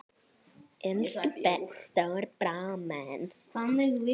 Elsku stóri bróðir minn.